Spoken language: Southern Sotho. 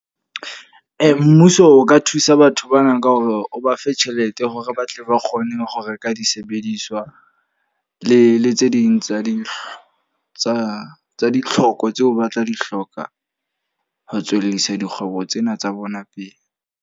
Mmuso o ka thusa batho bana ka hore o ba fe tjhelete hore ba tle ba kgone ho reka disebediswa. Le le tse ding tsa di tsa tsa ditlhoko, tseo ba tla di hloka ho tswellisa dikgwebo tsena tsa bona pele.